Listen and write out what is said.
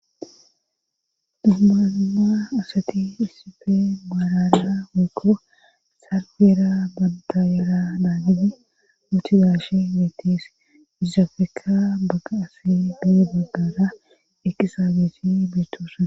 Dumma dumma asati isife baarara weykko saarfeyera bantayera daagidi ooti gaashe beetes izafeka bagga asi bee baggara ekisaabeshi beetosa